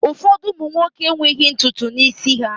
Ụfọdụ ụmụ nwoke enweghị ntutu n'isi ha